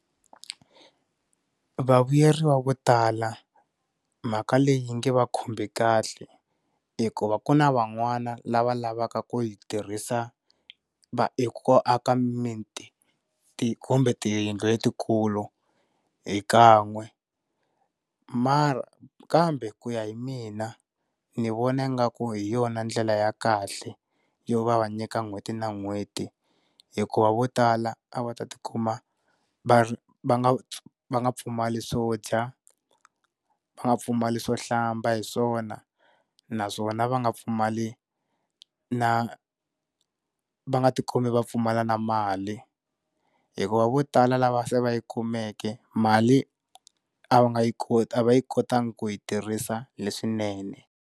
Vavuyeriwa vo tala mhaka leyi yi nge va khumbi kahle hikuva ku na van'wana lava lavaka ku yi tirhisa va hi ku aka miminti kumbe tiyindlu letikulu hi kan'we mara kambe ku ya hi mina ni vona ingaku hi yona ndlela ya kahle yo va va nyika n'hweti na n'hweti hikuva vo tala a va ta tikuma va ri va nga va nga pfumali swodya, va nga pfumali swo hlamba hiswona naswona va nga ti kumi va pfumala na mali hikuva vo tala lava se va yi kumeke mali a va yi koti a va kotanga ku yi tirhisa leswinene.